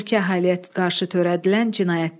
Mülki əhaliyə qarşı törədilən cinayətlər.